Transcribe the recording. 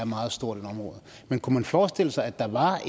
meget stort område men kunne man forestille sig at der var